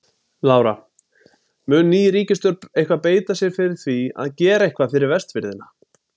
Lára: Mun ný ríkisstjórn eitthvað beita sér fyrir því að gera eitthvað fyrir Vestfirðina?